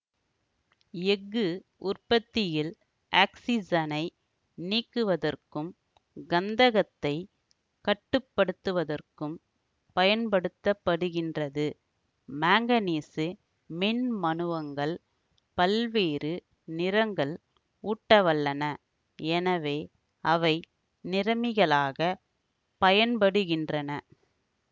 எஃகு உற்பத்தியில் ஆக்சிசனை நீக்குவதற்கும் கந்தகத்தைக் கட்டு படுத்துவதற்கும் பயன்படுத்த படுகின்றது மாங்கனீசு மின்மனுவங்கள் பல்வேறு நிறங்கள் ஊட்டவல்லன எனவே அவை நிறமிகளாகப் பயன்படுகின்றன